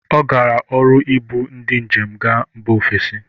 Ọ gara ọrụ ibụ ndị njem gaa mba ofesi